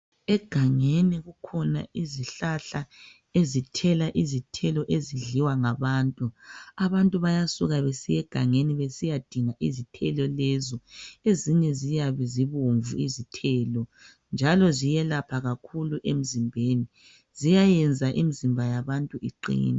Egangeni kukhona izihlahla ezithela izithelo ezidliwa ngabantu abantu bayasuka besiyegangeni besiyidinga izithelo lezo ezinye ziyabezibomvu izithelo njalo ziyelapha kakhulu emzimbeni ziyayenza imizimba yabantu iqine.